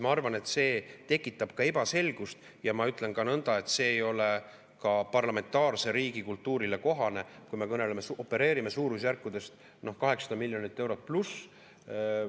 Ma arvan, et see tekitab ka ebaselgust, ja ma ütlen ka nõnda, et see ei ole parlamentaarse riigi kultuurile kohane, kui me opereerime suurusjärkudes 800+ miljonit eurot.